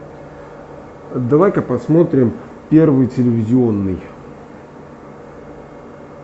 давай ка посмотрим первый телевизионный